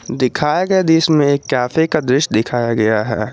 दिखाए गये दृश्य में कैफे का दृश्य दिखाया गया है।